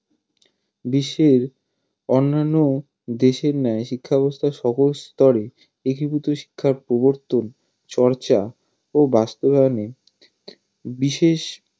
বিশ্বের অন্যান্য দেশের ন্যায় শিক্ষাব্যাবস্থার সকল স্তরে একীভূত শিক্ষার প্রবর্তন চর্চা ও বাস্তবায়নে বিশেষ